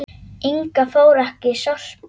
Inga fór ekki í Sorpu.